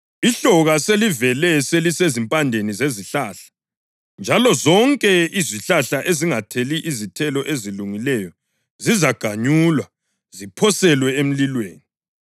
Ihloka selivele selisezimpandeni zezihlahla, njalo zonke izihlahla ezingatheli izithelo ezilungileyo zizaganyulwa, ziphoselwe emlilweni.”